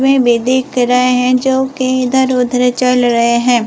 भी दिख रहे हैं जो की इधर उधर चल रहे हैं।